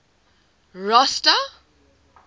rosta